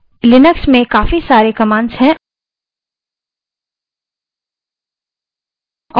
Linux में हमारे पास काफी सारी commands हैं